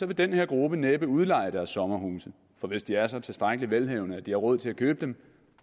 vil den her gruppe næppe udleje deres sommerhuse for hvis de er så tilstrækkeligt velhavende at de har råd til at købe dem